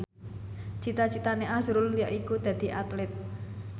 cita citane azrul yaiku dadi Atlit